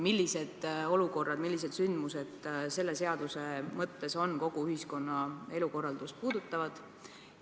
Millised olukorrad, millised sündmused on selle seaduse mõttes kogu ühiskonna elukorraldust puudutavad?